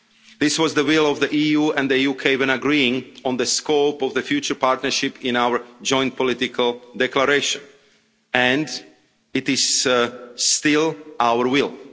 This was the will of the EU and the UK when agreeing on the scope of the future partnership in our joint political declaration and it is still our will.